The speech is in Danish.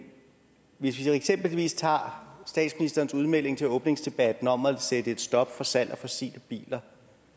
hvis vi eksempelvis tager statsministerens udmelding til åbningsdebatten om at sætte et stop for salg af fossile biler